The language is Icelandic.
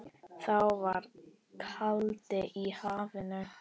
Þá var kaldi í hafinu.